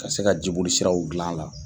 Ka se ka jiboli siraw gilan la.